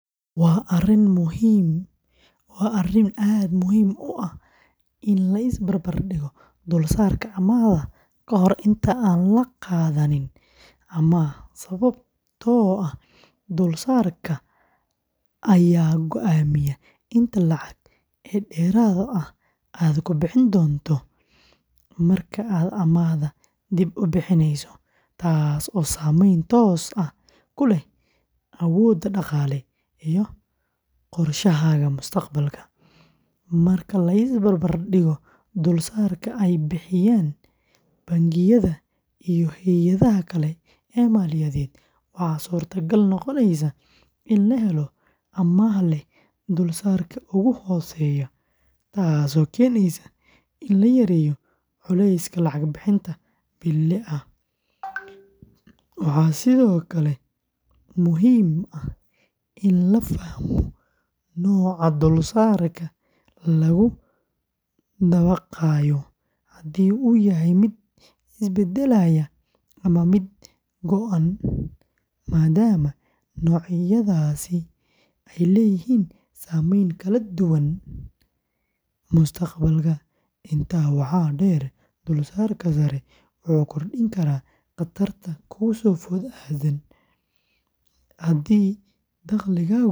Waa arrin aad u muhiim ah in la is barbar dhigo dulsaarka amaahda ka hor inta aan la qaadanin amaah sababtoo ah dulsaarka ayaa go’aamiya inta lacag ee dheeraad ah aad ku bixin doonto marka aad amaahda dib u bixineyso, taasoo saameyn toos ah ku leh awooddaada dhaqaale iyo qorshahaaga mustaqbalka. Marka la is barbar dhigo dulsaarka ay bixiyaan bangiyada iyo hay’adaha kale ee maaliyadeed, waxaa suurtagal noqonaysa in la helo amaah leh dulsaarka ugu hooseeya, taasoo keeneysa in la yareeyo culayska lacag bixinta bille ah. Waxaa sidoo kale muhiim ah in la fahmo nooca dulsaarka lagu dabaqayo haddii uu yahay mid isbeddelaya ama mid go’an maadaama noocyadaasi ay leeyihiin saameyn kala duwan mustaqbalka. Intaa waxaa dheer, dulsaarka sare wuxuu kordhin karaa khatarta kugu soo food leh haddii dakhligaagu isbeddelo.